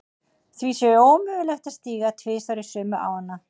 Því sé ómögulegt að stíga tvisvar í sömu ána.